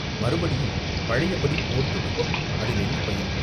மறுபடியும் பழையபடி போர் தொடங்கும் அதில் என்ன பயன்?